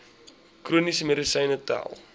chroniese medisyne tel